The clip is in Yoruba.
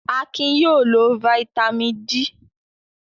Akin yóò lo fataímìn D!